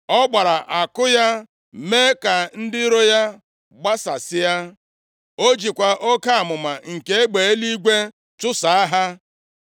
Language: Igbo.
Ọ gbara àkụ ya, mee ka ndị iro gbasasịa. O jikwa oke amụma nke egbe eluigwe chụsaa ha.